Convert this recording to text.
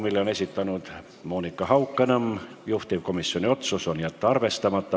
Selle on esitanud Monika Haukanõmm, juhtivkomisjoni otsus: jätta arvestamata.